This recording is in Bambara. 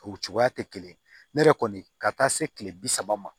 O cogoya tɛ kelen ye ne yɛrɛ kɔni ka taa se kile bi saba ma